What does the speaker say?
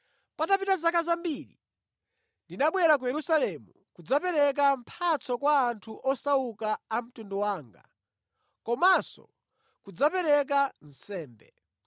“Patapita zaka zambiri, ndinabwera ku Yerusalemu kudzapereka mphatso kwa anthu osauka a mtundu wanga komanso kudzapereka nsembe.